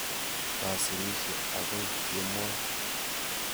Kasirishe akoi kemoi.